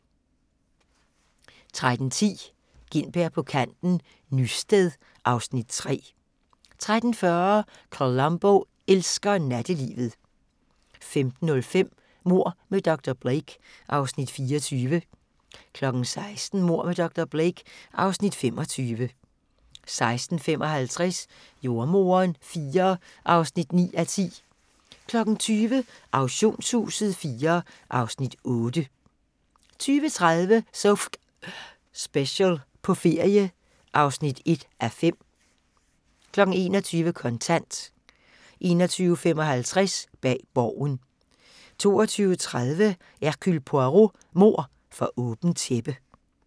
13:10: Gintberg på kanten - Nysted (Afs. 3) 13:40: Columbo elsker nattelivet 15:05: Mord med dr. Blake (Afs. 24) 16:00: Mord med dr. Blake (Afs. 25) 16:55: Jordemoderen IV (9:10) 20:00: Auktionshuset IV (Afs. 8) 20:30: So F***ing Special – på ferie (1:5) 21:00: Kontant 21:55: Bag Borgen 22:30: Hercule Poirot: Mord for åbent tæppe